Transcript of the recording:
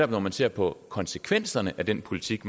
når man ser på konsekvenserne af den politik